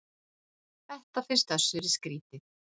Þetta finnst Össuri skrítið.